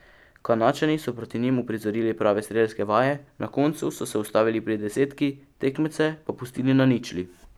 Kanadčani so proti njim uprizorili prave strelske vaje, na koncu so se ustavili pri desetki, tekmece pa pustili na ničli.